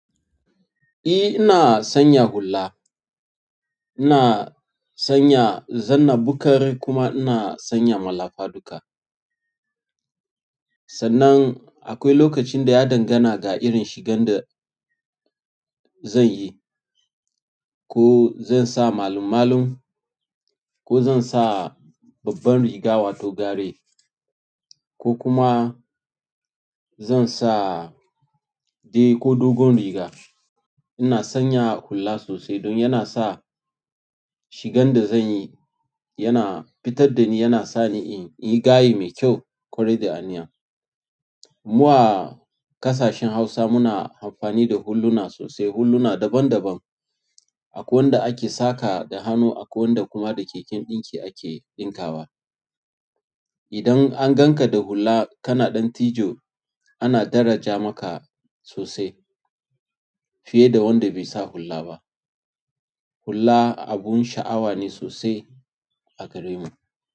Eh, ina sanya hula. Ina sanya zanna bukar kuma ina sanya malafa duka. Sannan akwai lokacin da ya dangana ga irin shigan da zan yi. Ko zan sa malam-malum, ko zan sa babban riga wato garai ko kuma zan sa dai ko dogon riga. Ina sanya hula sosai don yana sa shigan da zan yi yana fitar da ni, yana sa ni in yi gaye mai kyau, ƙwarai da aniya. Mu a ƙasashen Hausa muna amfani da hulluna sosai. Hulluna daban daban. Akwai wanda ake saka da hannu, akwai wanda kuma da keken ɗinki ake ɗinkawa. Idan an gan ka da hula kana ɗan tijo, ana daraja maka sosai fiye da wanda bai sa hula ba. Hula abun sha'awa ne sosai a garinmu.